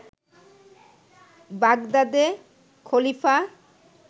বাগদাদের খলিফা